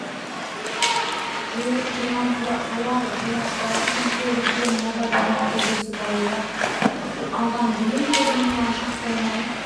жиылып тұрған тауар болмапты әркім қолы жеткенін жапа-тармағай бөлісіп алуда алған бұйымы перзентіне шақ болмай